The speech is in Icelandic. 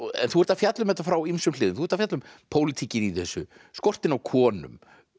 þú ert að fjalla um þetta frá ýmsum hliðum þú ert að fjalla um pólitíkina í þessu skortinn á konum